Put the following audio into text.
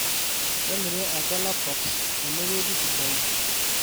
kemiri ake laptops tenewueji sidain